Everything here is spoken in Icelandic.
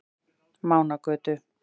Mánagötu